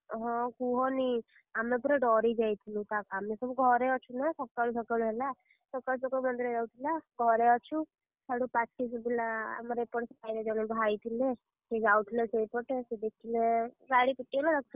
ହଁ କୁହନି ଆମେ ପୁରା ଡରି ଯାଇଥିଲୁ ତା ଆମେ ସବୁ ଘରେ ଅଛୁ ନା ସକାଳୁ ସକାଳୁ ହେଲା, ସକାଳୁ ସକାଳୁ ଆମେ ସବୁ ଘରେ ଅଛୁ, ସିଆଡୁ ପାଟି ଶୁଭିଲା ଆମର ଏପଟେ ସାହିରେ ଜଣ ଭାଇ ଥିଲେ, ସିଏ ଯାଉଥିଲେ ସେଇପଟେ ସିଏ ଦେଖିଲେ ଗାଡି ରଖିଲେ ସେଇଠୁ।